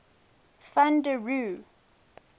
van der rohe